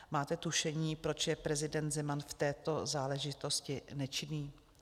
Máte tušení, proč je prezident Zeman v této záležitosti nečinný?